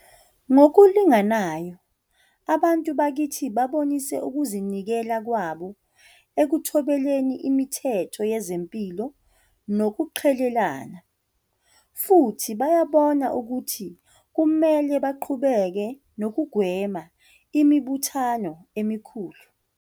Ngokulinganayo, abantu bakithi babonise ukuzi nikela kwabo ekuthobeleni imithetho yezempilo nokuqhelelana. Futhi bayabona ukuthi kumele baqhubeke nokugwema imibuthano emikhulu.